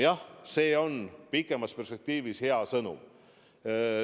Jah, see on pikemas perspektiivis hea sõnum.